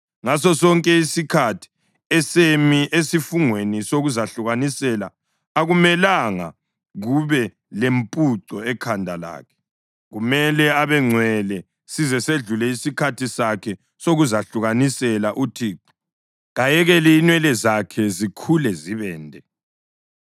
Ngasosonke isikhathi esemi esifungweni sokuzahlukanisela akumelanga kube lempuco ekhanda lakhe. Kumele abengcwele size sedlule isikhathi sakhe sokuzahlukanisela uThixo; kayekele inwele zakhe zikhule zibende.